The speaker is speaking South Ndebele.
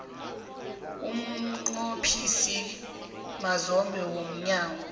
umnqophisi mazombe womnyango